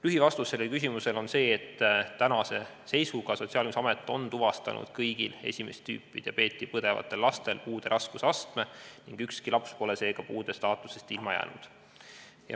" Lühivastus sellele küsimusele on see, et tänase seisuga on Sotsiaalkindlustusamet tuvastanud kõigil esimest tüüpi diabeeti põdevatel lastel puude raskusastme ning ükski laps pole seega puude staatusest ilma jäänud.